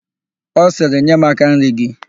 Ọ sịrị, "nye m áká nri gị"!